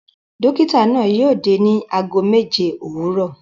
Dọ́kítá náà yóò dé ní ago méje òwúrọ̀.